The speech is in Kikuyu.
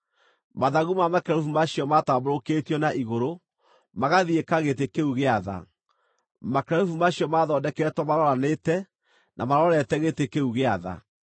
Mathagu ma makerubi macio matambũrũkĩtio na igũrũ, magathiĩka gĩtĩ kĩu gĩa tha. Makerubi macio maathondeketwo maroranĩte, na marorete gĩtĩ kĩu gĩa tha.